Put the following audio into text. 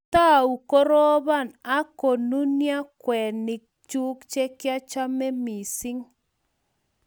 Kitou koroban kumanai akonunio kweinik chuk che kiachome mising